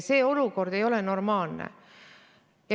See olukord ei ole normaalne.